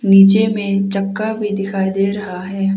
नीचे मे चक्का भी दिखाई दे रहा है।